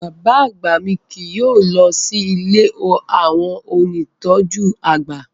Bàbá àgbà mi kì yóò lọ sí ilé àwọn ónìtọ́jú àgbà